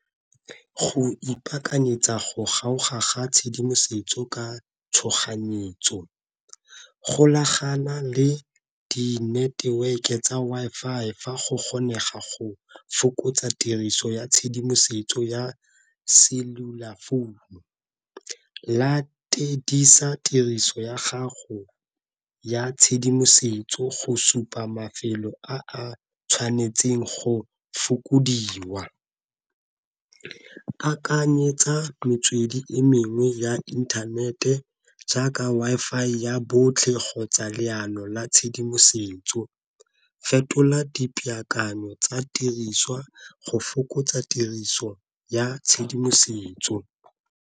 Go ipakanyetsa go kgoga ga tshedimosetso ka tshoganyetso, golagana le di-network-e tsa Wi-Fi fa go kgonega go fokotsa tiriso ya tshedimosetso ya cellular phone. Latedisa tiriso ya gago ya tshedimosetso go supa mafelo a a tshwanetseng go fokodiwa. Akanyetsa metswedi e mengwe ya inthanete jaaka Wi-Fi ya botlhe kgotsa leano la tshedimosetso, fetola dipaakanyo tsa tiriswa go fokotsa tiriso ya tshedimosetso.